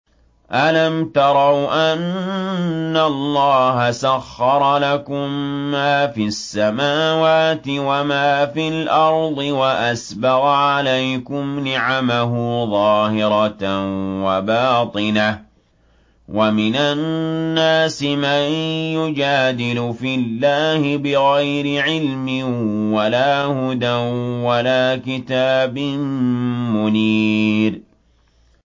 أَلَمْ تَرَوْا أَنَّ اللَّهَ سَخَّرَ لَكُم مَّا فِي السَّمَاوَاتِ وَمَا فِي الْأَرْضِ وَأَسْبَغَ عَلَيْكُمْ نِعَمَهُ ظَاهِرَةً وَبَاطِنَةً ۗ وَمِنَ النَّاسِ مَن يُجَادِلُ فِي اللَّهِ بِغَيْرِ عِلْمٍ وَلَا هُدًى وَلَا كِتَابٍ مُّنِيرٍ